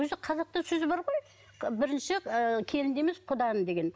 өзі қазақта сөз бар ғой бірінші ыыы келінді емес құданы деген